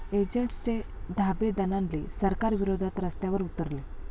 एजंट्सचे धाबे दणाणले, सरकारविरोधात रस्त्यावर उतरले